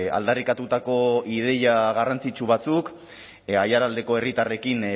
aldarrikatutako ideia garrantzitsu batzuk aiaraldeko herritarrekin